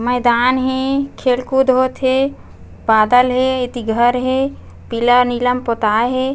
मैदान हे खेल कूद होत हे बादल हे एति घर हे पीला नीला म पोताय हे।